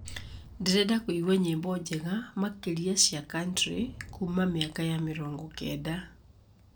ndĩrenda kũigua nyĩmbo njega makĩria cia country kuuma mĩaka ya mĩrongo kenda